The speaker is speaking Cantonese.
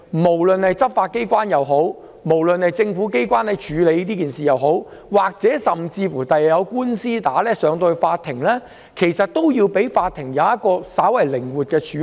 無論是執法機關或政府機關在處理這些事情上，甚至日後出現法律訴訟，其實亦要讓法庭可以稍為靈活地處理。